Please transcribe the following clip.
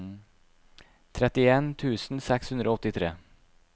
trettien tusen seks hundre og åttitre